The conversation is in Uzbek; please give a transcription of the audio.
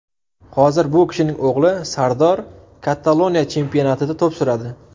Hozir bu kishining o‘g‘li Sardor Kataloniya chempionatida to‘p suradi.